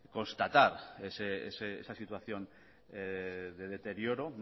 constatar esa situación de deterioro